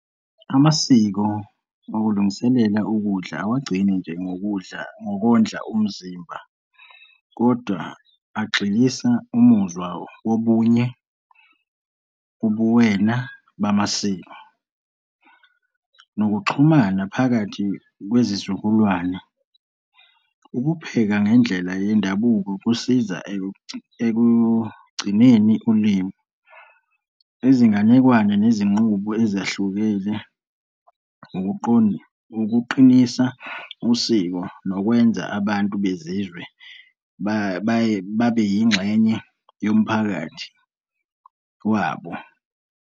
Amasiko okulungiselela ukudla awagcini nje ngokudla, ngokondla umzimba kodwa agxilisa umuzwa wobunye ubuwena bamasiko, nokuxhumana phakathi kwezizukulwane, ukupheka ngendlela yendabuko kusiza ekugcineni ulimi, izinganekwane nezinqubo ezahlukene, kuqinisa usiko, nokwenza abantu bezizwe babeyingxenye yomphakathi wabo.